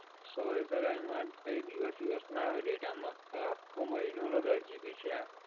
sorry sir એમાં કી દિવસ-બીવસ ના આવે data માં, આખા મહિના નો દસ GB છે આ.